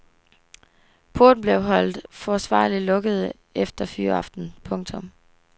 Porten blev holdt forsvarligt lukket efter fyraften. punktum